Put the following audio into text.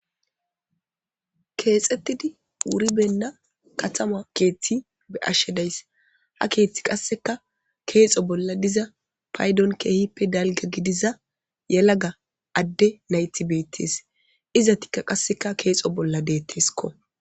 Keexettidi wuribenna katama keeththi be ashshe dayss ha keeththi qasseka keexo bolla diza paydon keehippe dalga gidiza yelaga adde naytibeettes izatikka qasseka keexo bolla deetteskko.